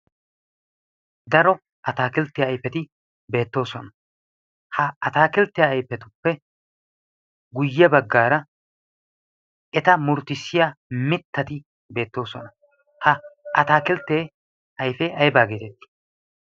daro ataakilttiya ayfeti beettoosona ha ataakilttiya ayfetuppe guyye baggaara eta murttissiya mittati beettoosona ha ataakilttee ayfe aybaa geetettii